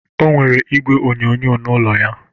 O nwere igwe onyoonyo na ụlọ ya.